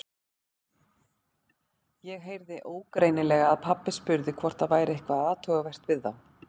Ég heyrði ógreinilega að pabbi spurði hvort það væri eitthvað athugavert við þá.